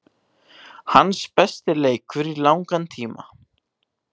Hans besti leikur í langan tíma.